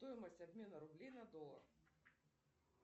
стоимость обмена рублей на доллар